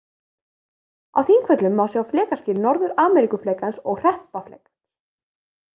Á Þingvöllum má sjá flekaskil Norður-Ameríkuflekans og Hreppaflekans.